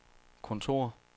kontor